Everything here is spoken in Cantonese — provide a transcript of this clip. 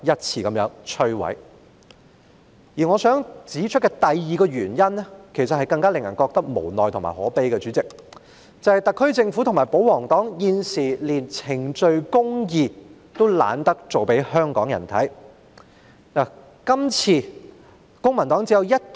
主席，我想指出的第二個原因，其實令人感到更加無奈和可悲，因為特區政府和保皇黨現時乾脆懶得向香港人裝作秉持程序公義。